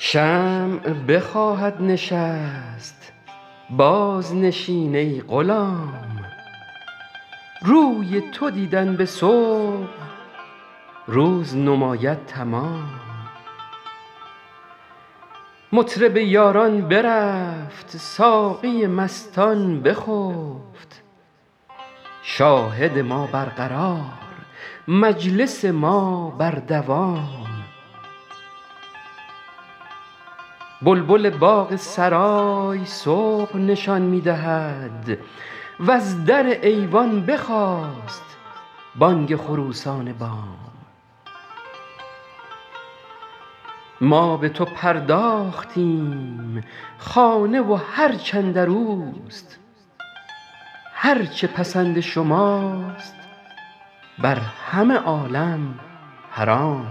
شمع بخواهد نشست بازنشین ای غلام روی تو دیدن به صبح روز نماید تمام مطرب یاران برفت ساقی مستان بخفت شاهد ما برقرار مجلس ما بر دوام بلبل باغ سرای صبح نشان می دهد وز در ایوان بخاست بانگ خروسان بام ما به تو پرداختیم خانه و هرچ اندر اوست هر چه پسند شماست بر همه عالم حرام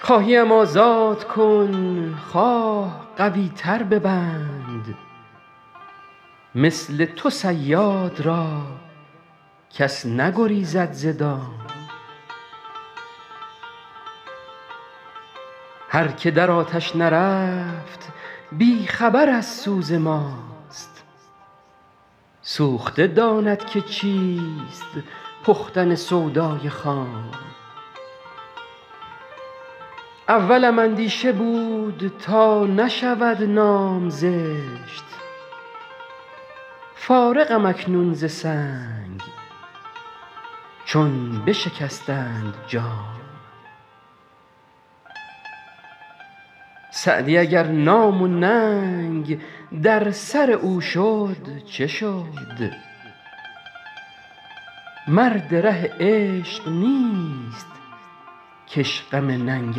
خواهی ام آزاد کن خواه قوی تر ببند مثل تو صیاد را کس نگریزد ز دام هر که در آتش نرفت بی خبر از سوز ماست سوخته داند که چیست پختن سودای خام اولم اندیشه بود تا نشود نام زشت فارغم اکنون ز سنگ چون بشکستند جام سعدی اگر نام و ننگ در سر او شد چه شد مرد ره عشق نیست که اش غم ننگ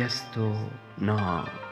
است و نام